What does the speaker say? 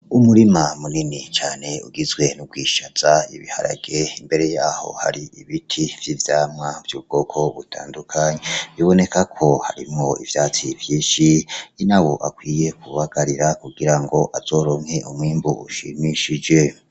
Umurima munini cane ugizwe n'ubwishaza, ibiharage imbere yaho hari ibiti vy'ivyamwa vy'ubwoko butandukanye. Biboneka ko harimwo ivyatsi vyinshi, inaho akwiye kubagarira kugira ngo azoronke umwimbu ushimishije.